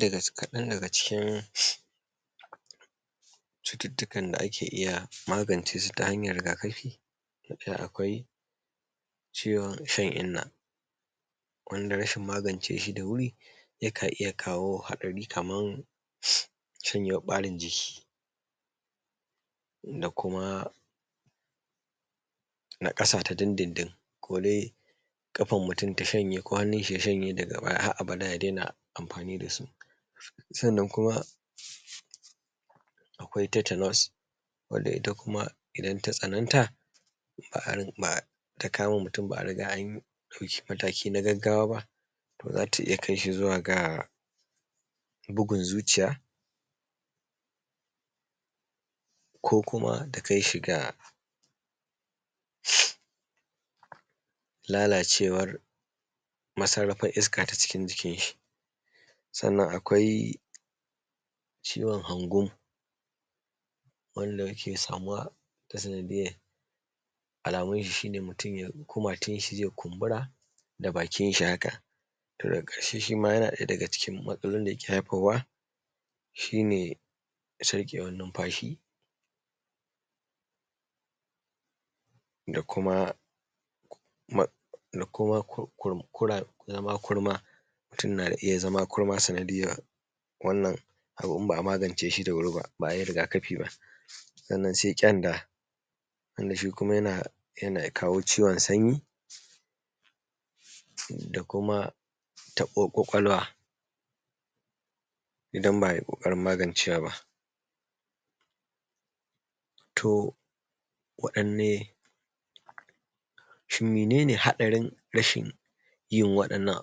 ɗaya, kaɗan dagan cikin cututtukan da ake iya magance su ta hanyar rigakafi akwai ciwon shan inna wanda rashin magance shi da wuri yakan iya kawo haɗari kaman shanyewan ɓarin jiki da kuma naƙasa ta dindindin kodai ƙafar mutum ta shanye ko hannun shi ya shanye daga baya har abada ya daina amfani da su, sannan kuma akwai tetanus wanda ita kuma idan ta tsananta har ma takama mutum ba a riga an ɗau mataki na gagawa ba to za ta iya kai shi zuwa ga bugun zuciya ko kuma ta kai shi ga lalacewar masarrafar iska ta cikin jikin shi. Sannan akwai ciwon hangun wanda yake samuwa ta sanadiyyar alamun shi ne mutum kumatunshi zai kumbura da bakinshi haka daga ƙarshe shi ma yana ɗaya daga cikin matsalolin da yake haifarwa shi ne sarƙewan numfashi da kuma zama kurma, mutum na iya zama kurma sanadiyyar wannan abun in ba a magance shi da wuri ba, ba a yi rigakafi ba sannan sai kyanda, shi kuma yana kawo ciwon sanyi da kuma taɓuwar kwakwalwa idan ba ai ƙoƙarin magaance wa ba. To, waɗdan ne shin menene haɗarin rashin yin waɗannan?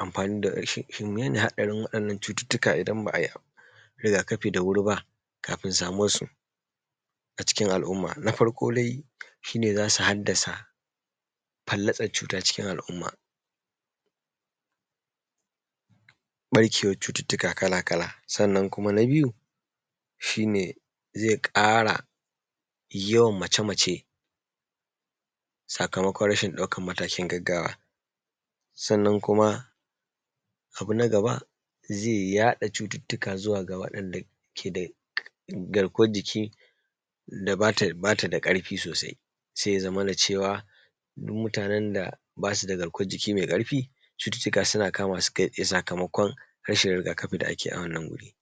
Amfani shin mene ne haɗarin waɗannan cututtuka idan ba ai rigakafi da wuri ba kafun samuwansu a cikin al’umma? Na farko dai shi ne za su hallasa, falllatsar cuta cikin al’umma, ɓarkewar cututtuka kala-kala, sannan kuma na biyu shi ne zai ƙara yawan mace-mace sakamakon rashin ɗaukan matakin gagagwa, sannan kuma abu na gaba zai yaɗa cututtuka zuwa ga yaɗuwar da ke da garkuwar jiki ga wanda ba ta da ƙarfi sosai sai ya zamana cewa duk mutanen da ba su da garkuwan jiki mai ƙarfi cututtuka suna kama su sakamakon rashin rigakafi da ake yi a wannan wuri.